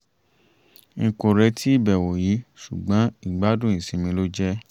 n kò retí ìbẹ̀wò yìí ṣùgbọ́n ìgbádùn ìsinmi ló jẹ́